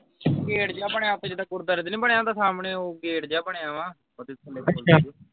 gate ਜਾ ਬਣਿਆ ਉਥੇ ਜਿੱਦਾਂ ਗੁਰਦਵਾਰੇ ਦੇ ਨੀ ਬਣਿਆ ਹੁੰਦਾ ਸਾਹਮਣੇ ਉਹ ਗੇਟ ਜਾ ਬਣਿਆ ਵਾਂ ਉਹਦੇ ਥੱਲੇ